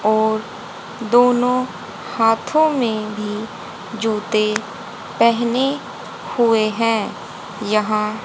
और दोनों हाथों में भी जूते पहने हुए है यहां--